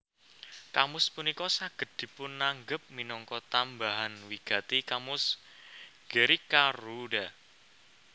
Kamus punika saged dipunanggep minangka tambahan wigati kamus Gericka Rooda